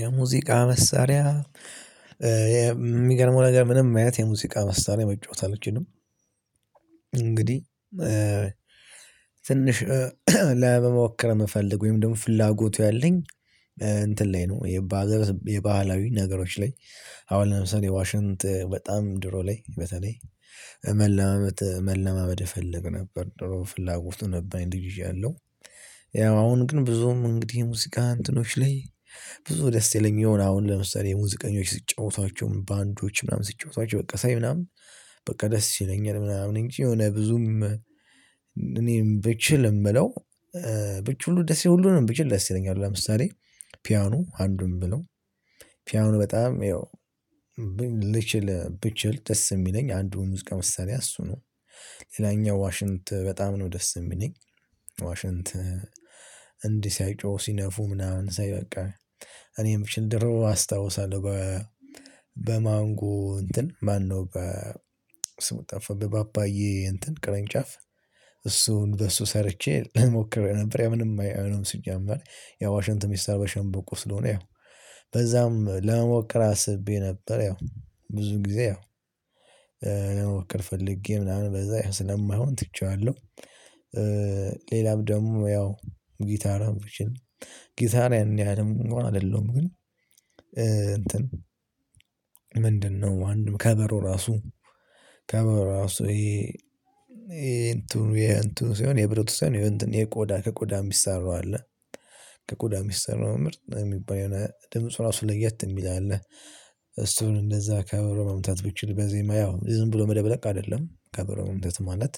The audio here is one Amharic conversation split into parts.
የሙዚቃ መሳሪያ የሚገርመው ነገር ምንም አይነት የሙዚቃ መሳሪያ መጫወት አለችንም። እንግዲህ ትንሽ ለመሞከር መፈለግ ወይም ደግሞ ፍላጎቱ ያለኝ እንትን ላይ ነው የባህላዊ ነገሮች ላይ አሁን ለምሳሌ ዋሽንጥ በጣም ድሮ ላይ በተለይ መለማመድ መለማመድ እፈልግ ነበር ድሮ ፍላጎቱ ነበረኝ ይዣለሁ ያው አሁን ግን ብዙም እንግዲህ ሙዝቃ አንትኖች ላይ ብዙ ደስ ይለኛል አሁን ለምሳሌ የሙዚቀኞች ስትጫወቷቸው ባንዶች ምናምን ስትጫወቷቸው በቃ ሳይ ምናምን በቃ ደስ ይለኛል ምናምን እንጂ የሆነ ብዙም እኔም ብችልም ምለው ብችል ሁሉንም ደስ ይለኛል ሁሉንም ነው ብቻ ደስ ይለኛል ለምሳሌ ፒያኖ አንዱን ምለው ፒያኑ በጣም ይው ብችል ደስ የሚለኝ አንዱን ሙዝቃ መሳሪ እሱ ነው። ሌላኛው ዋሽንት በጣም ነው ደስ የሚለኝ ዋሽንት እንዲህ ሲያይ ጮሁ ሲነፉ ምናምን ሳይ በቃ እኔም ችንድሮ አስታውሳለሁ። በማንጎ እንትን ማነው በስሙ ጠፋብህ በፓፓዬ እንትን ቅርንጫፍ እሱን በሱ ሰርቼ ሞክሬ ነበር ያ ምንም አይሆንም ስጀምር ያው ዋሽንት ሚሰራው በሸንበቆ ስለሆነ ያው በዛም ለመሞከር አስቤ ነበር ያው ብዙ ጊዜ ያው መወከል ፈልጌ ምናምን በዛ ስለማይሆን ትቼዋለው። ሌላም ደግሞ ያው ጊታራን ብችል ጊታሪያን ያኔ ያህልም አይደለም ግን እንትን ምንድነው አንድም ከበሮ ራሱ ከበሮ ራሱ ይሄ ይሄ እንትኑ ይሄ እንትኑ ሲሆን የብሩት ሲሆን ይሄ እንትን የቆዳ ከቆዳ የሚሰራው አለ። ከቆዳ የሚሰራው ምርጥ የሚባል የሆነ ድምጽ ራሱ ለየት የሚል አለ እሱን እንደዛ ከበሮ መምታት ብቻ በዜማ ያው ዝም ብሎ መደብለቅ አይደለም ከበሮ መምታት ማለት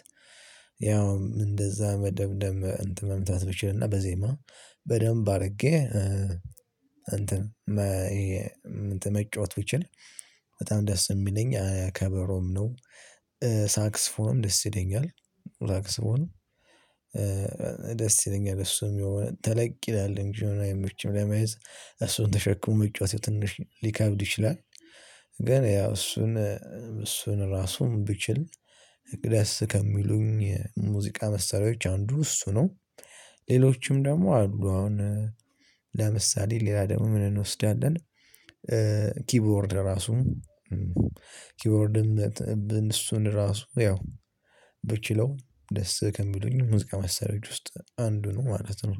ያው እንደዛ መደብደብ እንትን መምታት ብችልና በዜማ በደንብ አድርጌ እንትን መጫወት ብችል ነው በጣም ደስ የሚለኝ ከበሮም ነው። ደስ ይለኛል ሳክስፎንም ደስ ይለኛል እሱም የሆነ ተለቅ ይላል እንጂ አይመችም ለመያዝ እሱን ተሸክሞ መጫወት ትንሽ ሊከብድ ይችላል። ገን ያው እሱን እሱን ራሱን ብችል እቅዴስ ከሚሉኝ የ ሙዚቃ መስሪያዎች አንዱ እሱ ነው። ሌሎችም ደግሞ አሉ አሁን ለምሳሌ ሌላ ደግሞ ምን እንወስዳለን ኪቦርድ ራሱ ኪቦርድም እሱን ራሱ ያው ብችለው ደስ ከሚሉኝ ሙዝቃ መሳሪያዎች ውስጥ አንዱ ነው ማለት ነው።